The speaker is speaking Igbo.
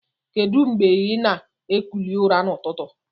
Kedu ngbe ina ekuli ụra na ụtụtụ?